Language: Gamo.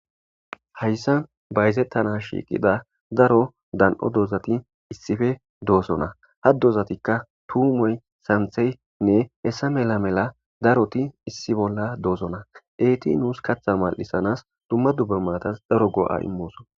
hayssan bayzettana shiiqida daro dan7o doozati issife doosona ha dozatikka tuumoy santheynne hessa mela mela daroti issi bolla doosona eeti nuus katha mal7isanas dumma dubbe maatas daro go7a immooso